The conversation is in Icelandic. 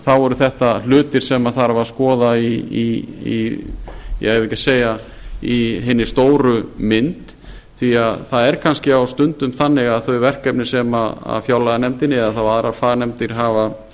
þá eru þetta hlutir sem þarf að skoða í eigum við ekki að segja í hinni stóru mynd því það er kannski á stundum þannig að þau verkefni sem fjárlaganefndin eða þá aðrar fagnefndir hafa